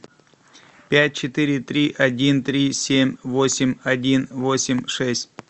пять четыре три один три семь восемь один восемь шесть